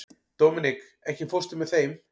Dominik, ekki fórstu með þeim?